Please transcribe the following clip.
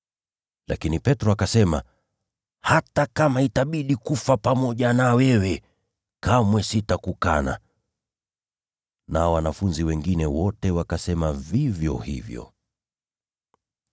Lakini Petro akasisitiza, “Hata kama itabidi kufa pamoja nawe, sitakukana kamwe.” Nao wanafunzi wale wengine wote wakasema vivyo hivyo.